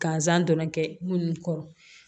Gansan dɔrɔn tɛ munnu kɔrɔ